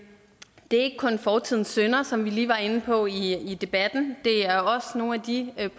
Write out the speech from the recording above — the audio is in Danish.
er ikke kun fortidens synder som vi lige var inde på i debatten det er også nogle af de